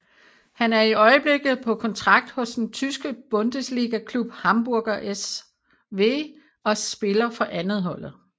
Han er i øjeblikket på kontrakt hos den tyske bundesligaklub Hamburger SV og spiller for andetholdet